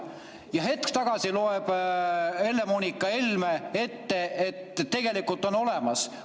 Ja hetk tagasi luges Helle-Moonika Helme ette, et tegelikult on olemas.